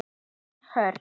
Þín Hrönn.